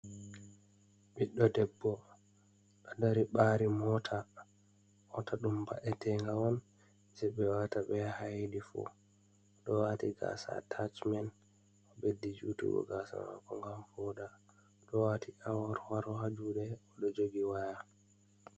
Ɓiɗɗo debbo, ɗo dari ɓari moota. moota ɗum ba’etega on je ɓe wata be yaha hayiɗifu, ɗo wati gasa atacimen ɓeddi jutugo gasa mako ngam voda, ɗo wati awor waro ha juɗe ɗo jogi waya.